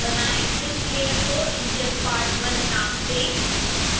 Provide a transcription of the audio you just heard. इस लेयर को enginepart1 नाम दें